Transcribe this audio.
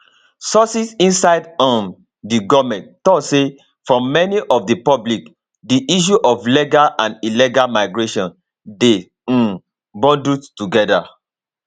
sources inside um di goment tok say for many of di public di issue of legal and illegal migration dey um bundled togeda